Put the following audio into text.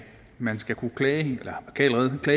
man skal kunne klage